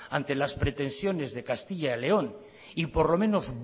ante las pretensiones de castilla y león y por lo menos